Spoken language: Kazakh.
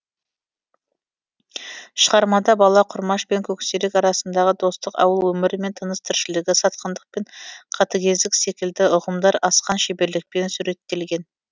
шығармада бала құрмаш пен көксерек арасындағы достық ауыл өмірі мен тыныс тіршілігі сатқындық пен қатыгездік секілді ұғымдар асқан шеберлікпен суреттелген